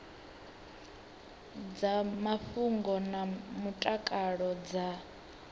dza mafhungo na mutakalo dza